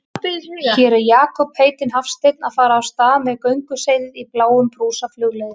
Hér er Jakob heitinn Hafstein að fara af stað með gönguseiði í bláum brúsa flugleiðis.